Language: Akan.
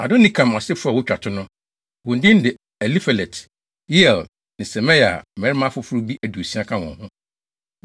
Adonikam asefo a wotwa to no: wɔn din de Elifelet, Yeiel, ne Semaia a, mmarima afoforo bi aduosia ka wɔn ho.